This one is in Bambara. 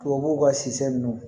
Tubabuw ka si nunnu